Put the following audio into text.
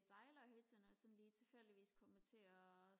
det er dejligt at høre til når jeg sådan lige tilfældigvis kommer til og